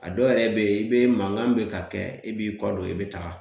A dɔw yɛrɛ bɛ yen i bɛ mankan bɛ ka kɛ i b'i kɔ don i bɛ taga